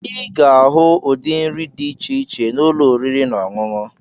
Ị ga-ahụ ụdị nri dị iche iche na ụlọ oriri na ọṅụṅụ.